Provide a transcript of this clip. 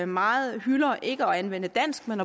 meget hylder ikke at anvende dansk men